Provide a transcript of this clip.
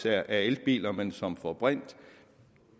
er elbiler men som får brint